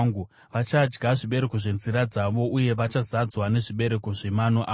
vachadya zvibereko zvenzira dzavo uye vachazadzwa nezvibereko zvemano avo.